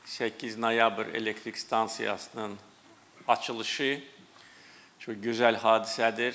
8 noyabr elektrik stansiyasının açılışı çox gözəl hadisədir.